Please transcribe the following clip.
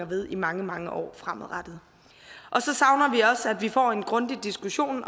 ved i mange mange år fremover så savner vi også at vi får en grundig diskussion